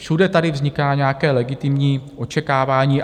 Všude tady vzniká nějaké legitimní očekávání.